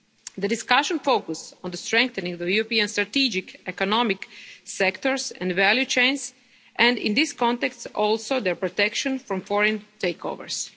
The discussion focused on strengthening the European strategic economic sectors and value chains and, in this context, also the protection from foreign takeovers.